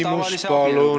Küsimus, palun!